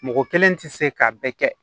Mɔgɔ kelen tɛ se k'a bɛɛ kɛ